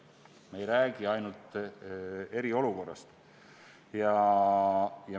Me ei räägi ainult eriolukorrast.